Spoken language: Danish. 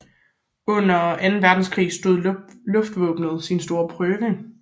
Under Anden Verdenskrig stod luftvåbenet sin store prøve